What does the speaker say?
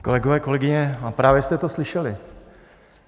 Kolegyně, kolegové, právě jste to slyšeli.